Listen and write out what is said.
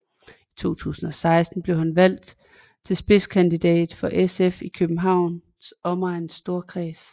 I 2016 blev han valgt til spidskandidat for SF i Københavns Omegns Storkreds